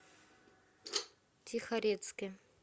тихорецке